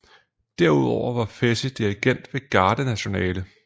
Derudover var Fessy dirigent ved Garde nationale